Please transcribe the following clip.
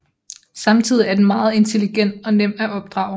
Samtidig er den meget intelligent og nem at opdrage